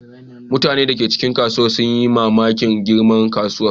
Mutanen da ke cikin kasuwar sun yi mamakin girman kasuwar.